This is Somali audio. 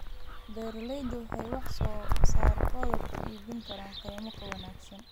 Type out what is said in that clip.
Beeraleydu waxay wax soo saarkooda ku iibin karaan qiimo ka wanaagsan.